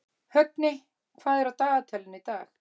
Högni, hvað er á dagatalinu í dag?